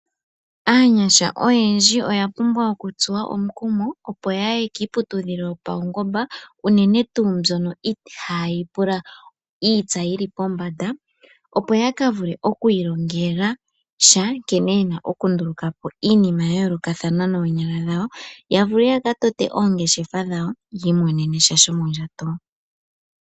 Aanyasha oyendji oya pumbwa oku tsuwa omukumo opo ya ue kiiputudhilo yopaungomba, unene tuu mbyono ihaa yi pula iitsa yi li pombanda opo ya ka vule oku ilongela nkene yena oku ndulukapo iinima ya yoolokathana noonyala dhawo, yavule ya ka tote oongeshefa dhawo yi imonene sha shomodjato.